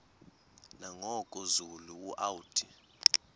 nangoku zulu uauthi